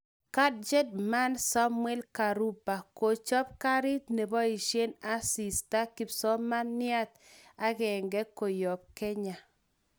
Gadget Man Samuel Karumbo; kochop karit nepoishen asista kipsomaniat agenge koyap Kenya.